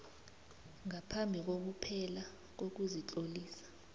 ngaphambi kokuphela kokuzitlolisa